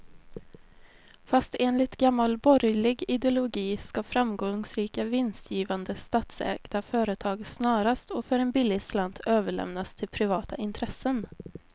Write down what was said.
Fast enligt gammal borgerlig ideologi ska framgångsrika, vinstgivande statsägda företag snarast och för en billig slant överlämnas till privata intressen.